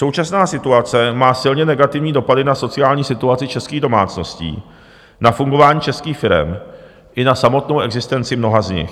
Současná situace má silně negativní dopady na sociální situaci českých domácností, na fungování českých firem i na samotnou existenci mnoha z nich.